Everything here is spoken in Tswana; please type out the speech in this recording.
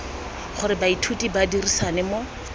gore baithuti ba dirisane mo